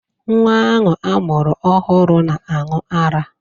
Nwa ahụ a mụrụ ọhụrụ na-aṅụ ará